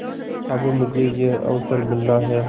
अब मुझे यह अवसर मिला है